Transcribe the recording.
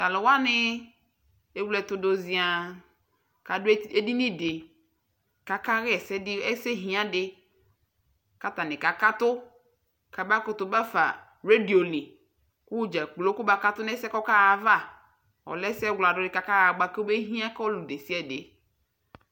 tʊ alʊwanɩ awletʊdʊ ziăă kʊ adʊ edinidɩ kʊ aka ɣa ɛsɛ lɛdidi dɩ kʊ atanɩ kakatʊ, kamakʊtʊ bafa radio li, kʊ wʊ dzakplo kʊ makʊtʊ nʊ ɛsɛ yɛ kʊ ɔkaɣa ayava, ɔlɛ ɛsɛ wladʊ dɩ bua kʊ alɛdidi kʊ ɔlʊnɔlʊ